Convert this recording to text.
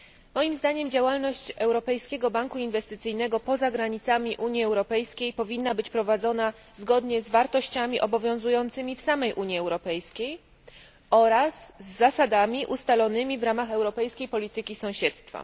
Moim zdaniem działalność Europejskiego Banku Inwestycyjnego poza granicami Unii Europejskiej powinna być prowadzona zgodnie z wartościami obowiązującymi w samej Unii Europejskiej oraz z zasadami ustalonymi w ramach europejskiej polityki sąsiedztwa.